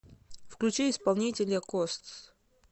включи исполнителя костс